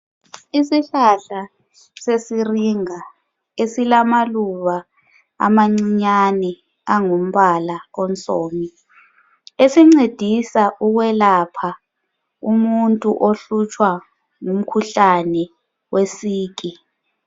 Isihlahla sesiringa esilamaluba amancinyane angumbala obomhlomi. Esincedisa ukwelapha umuntu ohlutshwa ngumkhuhlale wesiki.